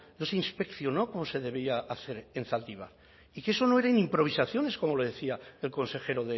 no se inspeccionó como se debía hacer en zaldibar y que no eran improvisaciones como le decía el consejero